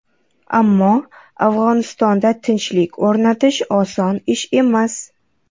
Ammo Afg‘onistonda tinchlik o‘rnatish oson ish emas.